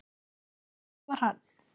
Og það var hann.